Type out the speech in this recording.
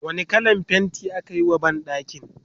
wani kallan fainti akayi wa banɗakin?